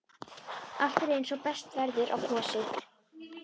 Allt er eins og best verður á kosið.